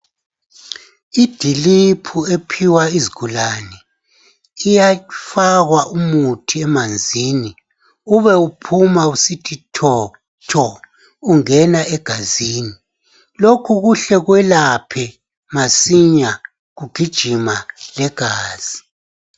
Idiliphu ephiwa izigulane iyafakwa umuthi emanzini uma uphuma usithi tho tho ungena engazini lokhu kuhle kwelaphe masinya kugijima legazi.